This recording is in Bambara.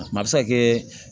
A bɛ se ka kɛ